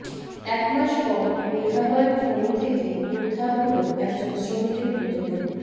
একমাস পর মেঘালয়ের খনি থেকে উদ্ধার হল একজন শ্রমিকের মৃতদেহ